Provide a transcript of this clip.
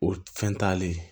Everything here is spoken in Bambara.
O fɛn t'ale